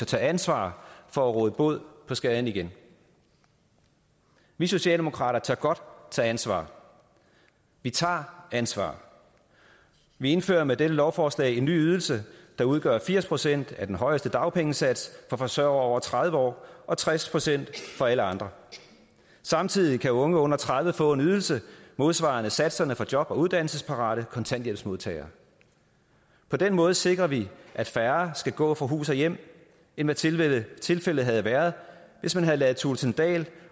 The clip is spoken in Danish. tage ansvar for at råde bod på skaden vi vi socialdemokrater tør godt tage ansvar vi tager ansvar vi indfører med dette lovforslag en ny ydelse der udgør firs procent af den højeste dagpengesats for forsørgere over tredive år og tres procent for alle andre samtidig kan unge under tredive få en ydelse modsvarende satserne for job og uddannelsesparate kontanthjælpsmodtagere på den måde sikrer vi at færre skal gå fra hus og hjem end hvad tilfældet tilfældet havde været hvis man havde ladet kristian thulesen dahls